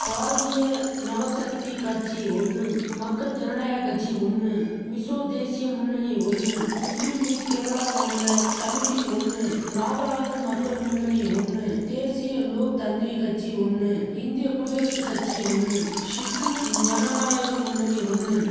பாரதிய நவசக்தி கட்சி ஒன்னும் மக்கள் ஜனநாயக கட்சி ஒன்னு மிசோ தேசிய முன்னணி ஒன்னு முஸ்லிம் லீக் கேரளா மாநில கமிட்டி ஒன்னு நாகாலாந்து மக்கள் முன்னணி ஒன்னு தேசிய லோக் தந்திரி கட்சி ஒன்னு இந்திய குடியரசு கட்சி ஒன்னு சிக்கிம் ஜனநாயக முன்னணி ஒன்னும்